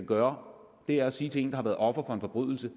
gøre er at sige til en der har været offer for en forbrydelse